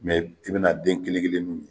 Mɛ i bena den kelen kelen n'u ye